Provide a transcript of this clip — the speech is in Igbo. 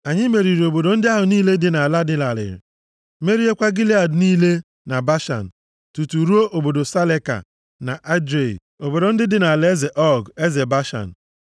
Anyị meriri obodo ndị ahụ niile dị nʼala dị larịị, meriekwa Gilead niile na Bashan, tutu ruo obodo Saleka na Edrei, obodo ndị dị nʼalaeze Ọg, eze Bashan.